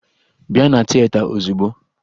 Bịa na tieta ozigbo!